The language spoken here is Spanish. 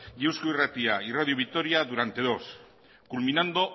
y eusko irratia y radio vitoria durante dos horas culminando